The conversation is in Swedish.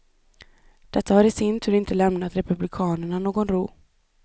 Detta har i sin tur inte lämnat republikanerna någon ro.